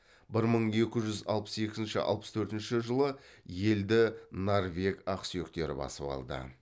бір мың екі жүз алпыс екінші алпыс төртінші жылы елді норвег ақсүйектері басып алды